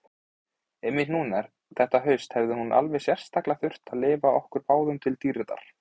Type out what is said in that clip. Einmitt núna þetta haust hefði hún alveg sérstaklega þurft að lifa okkur báðum til dýrðar.